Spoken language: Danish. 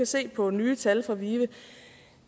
se på nye tal fra vive